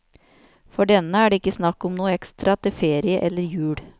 For denne er det ikke snakk om noe ekstra til ferie eller jul.